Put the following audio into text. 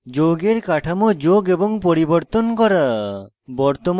যৌগের কাঠামো যোগ এবং পরিবর্তন করা